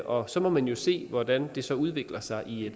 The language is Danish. og så må man jo se hvordan det så udvikler sig i